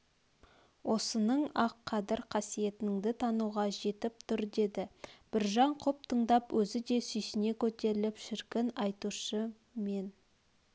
осының-ақ қадір-қасиетіңді тануға жетіп тұр деді біржан құп тыңдап өзі де сүйсіне көтеріліп шіркін айтушы мен